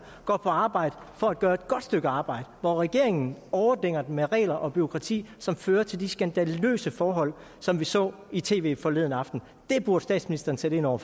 går på arbejde for at gøre et godt stykke arbejde hvor regeringen overdænger dem med regler og bureaukrati som fører til de skandaløse forhold som vi så i tv forleden aften det burde statsministeren sætte ind over